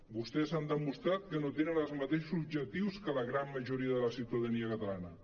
vostès han demostrat que no tenen els matei·xos objectius que la gran majoria de la ciutadania catalana